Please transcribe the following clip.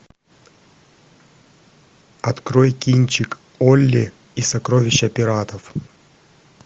открой кинчик олли и сокровища пиратов